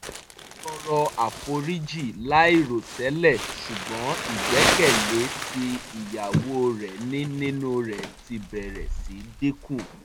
ó tọrọ àforíjì láìròtẹ̀lẹ́ ṣùgbọ́n ìgbẹ́kẹ̀lé tí ìyàwó rẹ̀ ní nínú rẹ̀ ti bẹ̀rẹ̀ sí dínkù